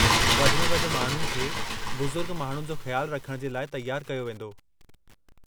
वधि में वधि माण्हुनि खे बुज़ुर्ग माण्हुनि जो ख़्याल रखणु जे लाइ तयारु कयो वेंदो।